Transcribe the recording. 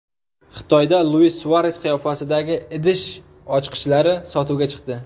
Xitoyda Luis Suares qiyofasidagi idish ochqichlari sotuvga chiqdi.